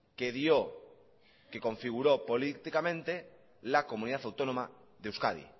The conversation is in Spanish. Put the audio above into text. que dio que configuró políticamente la comunidad autónoma de euskadi